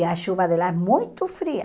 E a chuva de lá é muito fria.